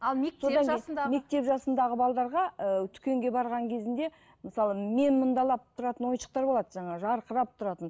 ал мектеп жасындағы мектеп жасындағы ы дүкенге барған кезінде мысалы мен мұндалап тұратын ойыншықтар болады жаңағы жарқырап тұратын